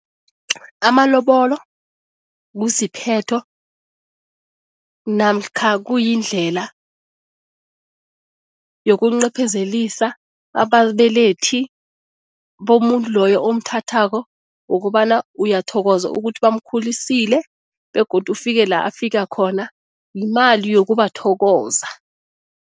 Amalobolo kusiphetho namkha kuyindlela yokuncephezelisa ababelethi bomuntu loyo omthathako wokobana uyathokoza ukuthi bamkhulisile begodu ufike la afika khona, yimali yokubathokoza.